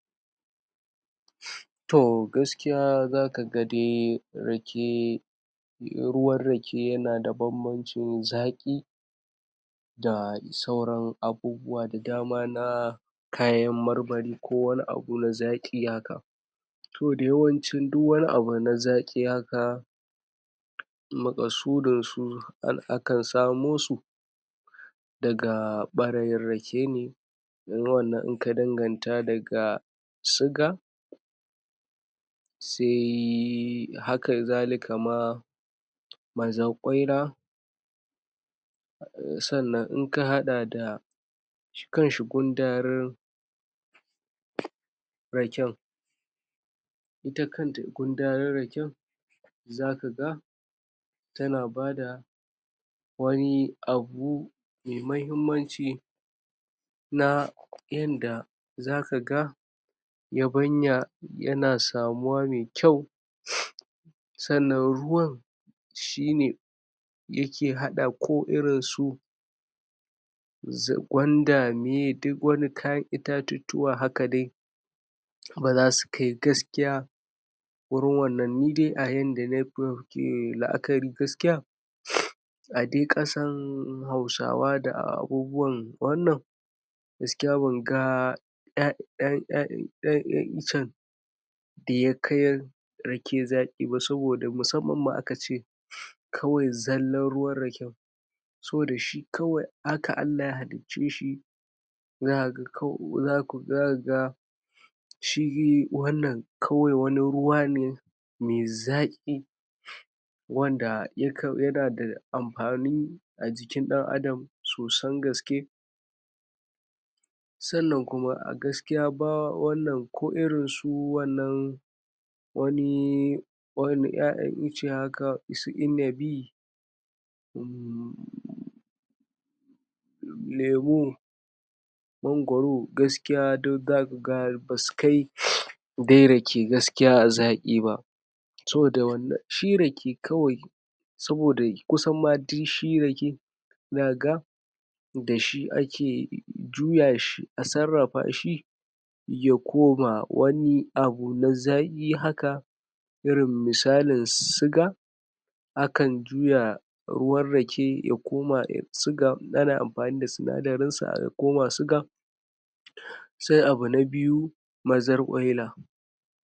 Wannan hoto ya na nuna mana samari ne guda biyu wanda kowanne yayi shirin kwanciya yayin da wanda ya ke sama ya kwanta, ama ya dakko waya sa ta hanu ya na amfani da ita wajen fira da abokanin sa kawayen sa yayin shi kuma wanda ya ke ƙasa shi kuma ya na jin waqe waqe shi ma da a waya ko kuma mu ce mata babban na'ura wanda ake manitorin shiga yanan gizo wanda aka san ta da um na'uran shiga yanan gizo wanda ita ce mu ka fi sanni da ita nan kuma wannan hoto ya na kara nuna mana yayin da mutum ya zo kwanciya ya kan dakko abun da zai dume musu kewa wanda ya na cikin wannan abun wanda har baci ya zo masa domin ya dauke masa tunanin wasu abubuwa wanda su ka dame shi yayi fira da abokanin sa ta yanin gizo wanda zai ruka tambayan su, su na tambayan shi su na fira wanda da ka bisani har baci ya zo ya ruske shi a wannan hali nashi da ya ke ciki na fira da ya ke yi da abokannin sa made su na da sallo daban daban na wajen su je wajen na baci wasu, wasu su kan ji waqe waqe wasu kuma suyi ta fira da abokanin su ta hanyan kiran waya ko makamancin irin wannan wannan shi ne dan takaidacin bayani na wa'en nan samari guda biyu da su ke wannan hoto